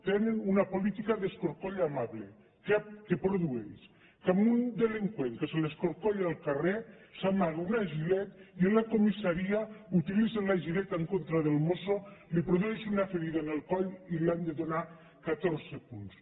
tenen una política d’escorcoll amable que produeix que un delinqüent que s’escorcolla al carrer s’amaga una gillette i en la comissaria utilitza la en contra del mosso li produeix una ferida en el coll i li han de donar catorze punts